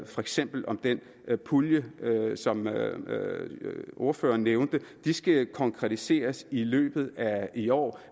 for eksempel om den pulje som ordføreren nævnte skal konkretiseres i løbet af i år